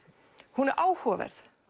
hún er áhugaverð